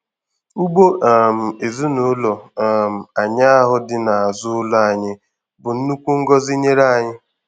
Ugbo um ezinụlọ um anyị ahụ dị n'azụ ụlọ anyị bụ nnukwu ngọzi nyere anyị.